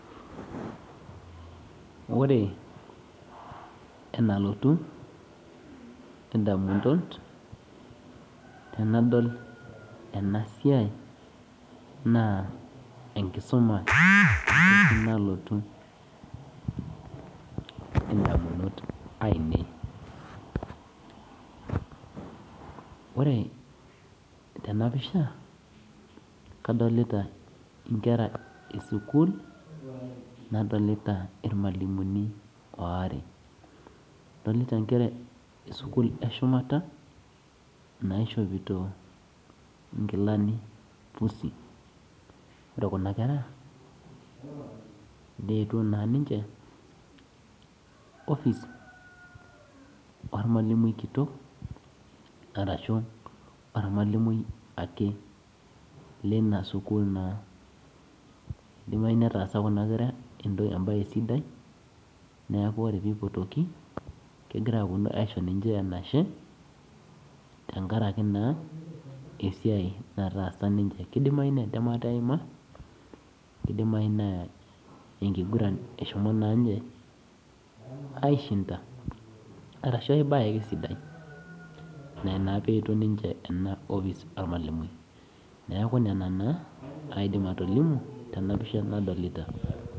Ore enalotu ndamunot tanadol ena siai na enkisuma nalotu ndamunot ainei ore tenapisha kadolta nkera esukul nadolta irmalimulini aare adolta nkera esukul eshumata naishopito nkilani pusi ore kuna kera neetuo ninche ofis ormalimui kitok idimayu netaasa kunabkera embae sidai neaku ore pipotuoki na tenkaraki entematta eiima indimai nai isho na ninye aishinda ashubaai bae ake sidai ina na peetuo enkopis ormalimui neaku ina naaaidim atolimu tenapisha nadolta.